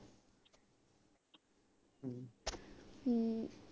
ਹਮ